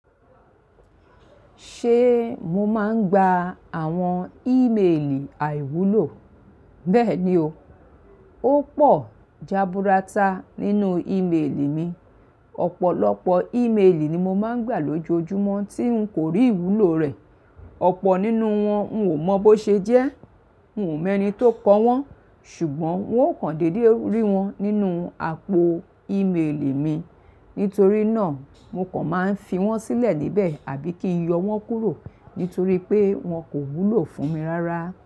Ṣé mo máa ń gba àwọn ìmelì àìwúlò? Bẹ́ẹ̀ ni o. Ó pọ̀ jaburata nínú ìmelì mi. Ọ̀pọ̀lọpọ̀ ìmelì ni mo máa ń gbà lójoojúmọ́ tí n kò rí ìwúlò rẹ̀. Ọ̀pọ̀ nínú wọn n ò mọ bó ṣe jẹ́. N ò mọ ẹni tó kọ́ wọn, ṣùgbọ́n wọn ò kándédé rí wọn nínú àpò ìmelì mi. Nítorí náà, mo kàn máa ń fi wọ́n sílẹ̀ níbẹ̀ àbí kí n yọ wọ́n kúrò, nítorí pé wọn kò wúlò fún mi rárá.